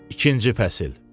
İkinci fəsil.